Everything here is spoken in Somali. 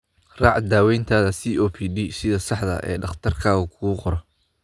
Raac daawayntaada COPD sida saxda ah ee dhakhtarkaagu kuu qoro.